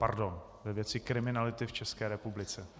Pardon, ve věci kriminality v České republice.